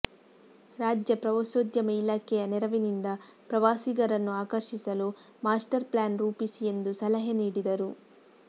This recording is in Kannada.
ರಾಜ್ಯ ಪ್ರವಾಸೋ ದ್ಯಮ ಇಲಾಖೆಯ ನೆರವಿನಿಂದ ಪ್ರವಾಸಿಗರನ್ನು ಆಕರ್ಷಿಸಲು ಮಾಸ್ಟರ್ ಪ್ಲಾನ್ ರೂಪಿಸಿ ಎಂದು ಸಲಹೆ ನೀಡಿದರು